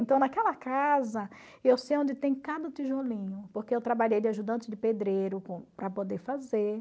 Então, naquela casa, eu sei onde tem cada tijolinho, porque eu trabalhei de ajudante de pedreiro para poder fazer.